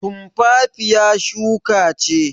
Tumfafiya shuka ce.